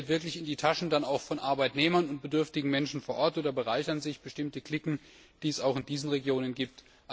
Fließt das Geld dann auch wirklich in die Taschen von Arbeitnehmern und bedürftigen Menschen vor Ort, oder bereichern sich bestimmte Cliquen, die es auch in diesen Regionen gibt?